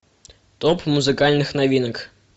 топ музыкальных новинок